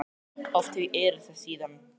Oft hef ég iðrast þess síðan.